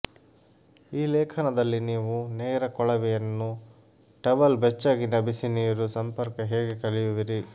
ಈ ಲೇಖನದಲ್ಲಿ ನೀವು ನೇರ ಕೊಳವೆಯನ್ನು ಟವಲ್ ಬೆಚ್ಚಗಿನ ಬಿಸಿನೀರು ಸಂಪರ್ಕ ಹೇಗೆ ಕಲಿಯುವಿರಿ